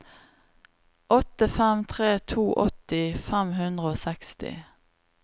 åtte fem tre to åtti fem hundre og seksti